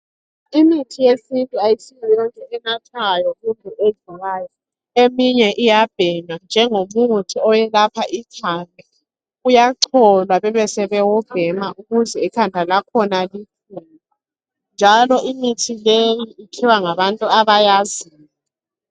Imithi yesintu asiyo esiyinathayo kumbe endliwayo eminye iyabhenywa njengomuthi owelapha ikhanda, uyacholwa besebewubhema ukuze ikhanda lakhona liphole njalo imithi leyi ikhiwa ngabantu abayaziyo